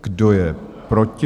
Kdo je proti?